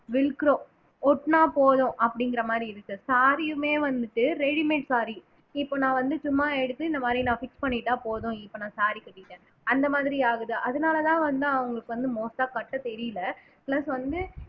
wellgrow ஓட்டுனா போதும் அப்படிங்கிற மாரி இருக்கு saree யுமே வந்துட்டு ready made saree இப்ப நான் வந்து சும்மா எடுத்து இந்த மாதிரி நான் fix பண்ணிட்டா போதும் இப்ப நான் saree கட்டிட்டேன் அந்த மாதிரி ஆகுது அதனால தான் வந்து அவங்களுக்கு வந்து most ஆ கட்ட தெரியலே plus வந்து